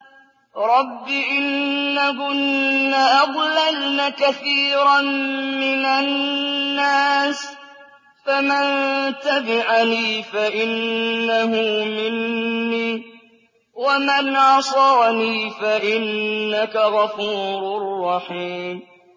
رَبِّ إِنَّهُنَّ أَضْلَلْنَ كَثِيرًا مِّنَ النَّاسِ ۖ فَمَن تَبِعَنِي فَإِنَّهُ مِنِّي ۖ وَمَنْ عَصَانِي فَإِنَّكَ غَفُورٌ رَّحِيمٌ